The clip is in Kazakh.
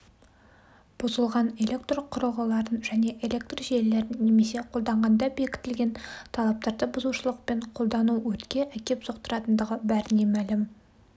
бұзылған электрқұрылғыларын және электр желілерін немесе қолданғанда бекітілген талаптарды бұзушылықпен қолдану өртке әкеп соқтыратындығы бәріне мәлім